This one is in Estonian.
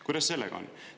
Kuidas sellega on?